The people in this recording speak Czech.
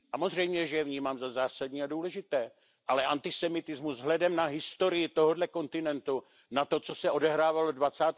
Samozřejmě, že je vnímám za zásadní a důležité, ale antisemitismus vzhledem na historii tohoto kontinentu, na to, co se odehrávalo ve